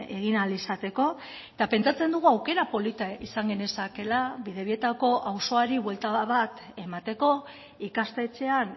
egin ahal izateko eta pentsatzen dugu aukera polita izan genezakeela bidebietako auzoari buelta bat emateko ikastetxean